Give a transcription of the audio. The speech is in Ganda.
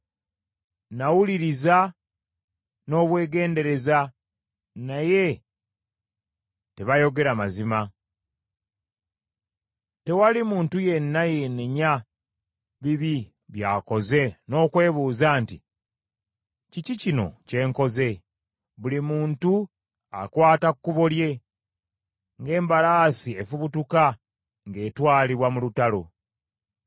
Nawuliriza n’obwegendereza naye tebayogera mazima; tewali muntu yenna yeenenya bibi byakoze n’okwebuuza nti, ‘Kiki kino kye nkoze?’ Buli muntu akwata kkubo lye ng’embalaasi efubutuka ng’etwalibwa mu lutalo.